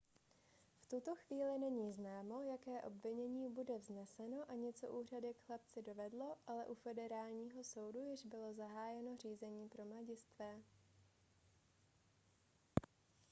v tuto chvíli není známo jaké obvinění bude vzneseno ani co úřady k chlapci dovedlo ale u federálního soudu již bylo zahájeno řízení pro mladistvé